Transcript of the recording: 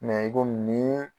Mɛ i komi nin ye